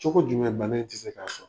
Cogo jumɛn ban in tɛ se k'a sɔrɔ.